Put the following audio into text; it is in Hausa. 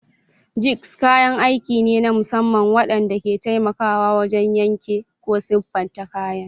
Jigs kayan aiki ne na musamman waɗanda ke taimakawa wajen yanke ko siffata kayan.